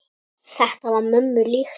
Þetta var mömmu líkt.